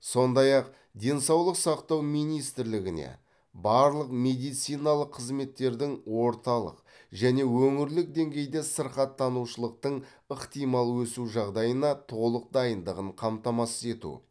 сондай ақ денсаулық сақтау министрлігіне барлық медициналық қызметтердің орталық және өңірлік деңгейде сырқаттанушылықтың ықтимал өсу жағдайына толық дайындығын қамтамасыз ету